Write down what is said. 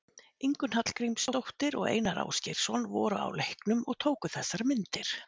Ingunn Hallgrímsdóttir og Einar Ásgeirsson voru á leiknum og tóku þessar myndir.